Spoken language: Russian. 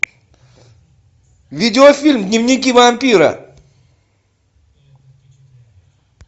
видеофильм дневники вампира